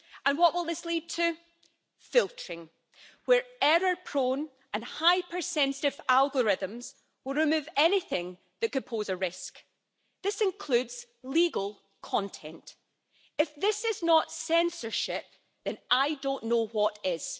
What will this lead to? Filtering, where error-prone and hypersensitive algorithms will remove anything that could pose a risk. This includes legal content. If this is not censorship then I don't know what